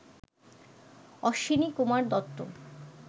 Ashwinikumar Dutta